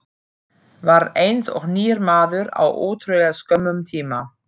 Varð eins og nýr maður á ótrúlega skömmum tíma.